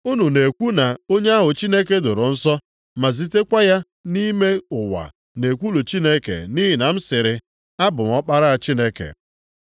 Unu na-ekwu na onye ahụ Chineke doro nsọ ma zitekwa ya nʼime ụwa na-ekwulu Chineke nʼihi na m sịrị, ‘Abụ m Ọkpara Chineke?’